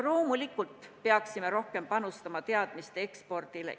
Loomulikult peaksime rohkem panustama teadmiste ekspordile.